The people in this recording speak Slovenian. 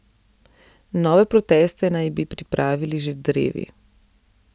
Nove proteste naj bi pripravili že drevi.